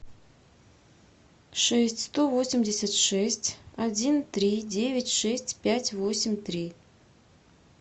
шесть сто восемьдесят шесть один три девять шесть пять восемь три